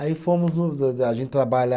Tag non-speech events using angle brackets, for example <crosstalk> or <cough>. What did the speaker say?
Aí fomos, <unintelligible> a gente trabalha.